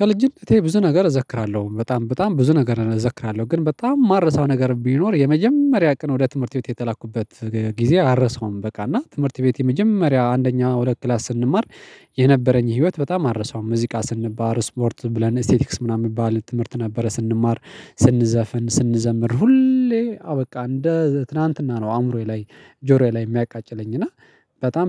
ከልጅነቴ ብዙ ነገር እዘክራለሁ በጣም በጣም ብዙ ነገር እዘክራለሁ ግን በጣም የማረሳው ነገር ቢኖር የመጀመሪያ ቀን ወደ ትምህርት ቤት የተላኩበት ጊዜ አረሳውም። በቃ እና ትምህርት ቤት የመጀመሪያ አንደኛ ሁለት ክላስ ስንማር የነበረኝ ህይወት በጣም አረሳው። ሙዚቃ ስንባር ስፖርት ብለን ኢስቴቲክስ ምናምን የሚባል ትምህርት ነበረ ስንማር ስንዘፍን ስንዘምር ሁሌ አዎ በቃ እንደ ትላንትና ነው። አእምሮዬ ላይ ጆሮዬ ላይ የሚያቃጭለኝ እና